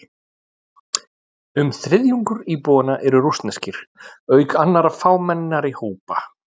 Um þriðjungur íbúanna eru rússneskir, auk annarra fámennari hópa.